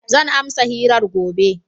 Zan amsa hirar gobe.